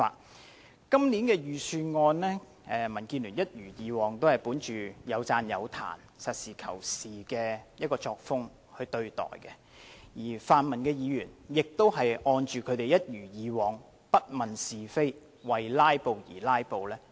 對於今年的財政預算案，民建聯一如既往，本着有讚有彈及實事求是的作風對待，而泛民議員亦一如既往，不問是非，為"拉布"而"拉布"。